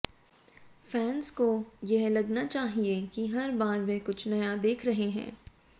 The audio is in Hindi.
फैंस को यह लगना चाहिए कि हर बार वे कुछ नया देख रहे हैं